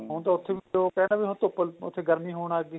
ਹੁਣ ਤਾਂ ਉੱਥੇ ਵੀ ਉਹ ਕਹਿਣ ਹੁਣ ਧੁੱਪ ਉੱਥੇ ਗਰਮੀ ਹੋਣ ਲੱਗ ਗਈ